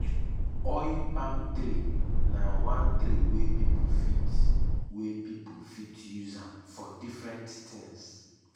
oil palm tree na one tree wey pipo fit wey pipo fit use am for different things.